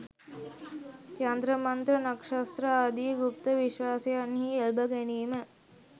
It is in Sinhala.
යන්ත්‍ර මන්ත්‍ර, නක්‍ෂත්‍ර ආදි ගුප්ත විශ්වාසයන්හි එල්බ ගැනීම